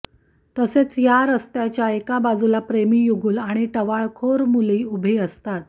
तसेच या रस्त्याच्या एका बाजूला प्रेमीयुगल आणि टवाळखोर मुले उभे असतात